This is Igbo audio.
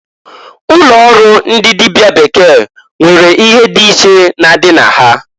Ụlọ ọrụ ndi dịbịa bekee nwere ihe dị iche na-adị na ha.